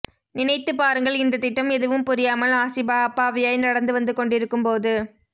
நினைத்துப் பாருங்கள் இந்தத்திட்டம் எதுவும் புரியாமல் ஆசிபா அப்பாவியாய் நடந்து வந்து கொண்டிருக்கும் போது